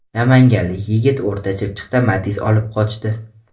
Namanganlik yigit O‘rta Chirchiqda Matiz olib qochdi.